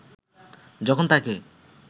যখন তাকে